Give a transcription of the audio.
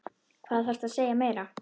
Hvað þarftu að segja meira?